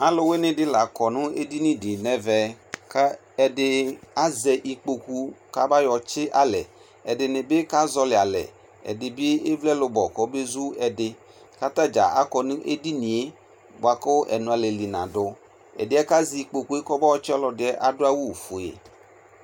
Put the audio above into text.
Aluwene de ne la kɔ ne dini nɛvɛ kɛ ɛde azɛ ikpoku ka ba yɔ tsi alɛ, Ɛdene be ka zɔli alɛ, ɛde be evle ɛlubo ko be zu ɛde ka ata dza akɔ no edinie boako ɛnoalɛli nado, Ɛdeɛ ja zɛ ikookuɛ kɔbɔ tse ɔlɔseɛ ado awufue